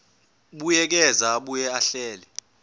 buyekeza abuye ahlele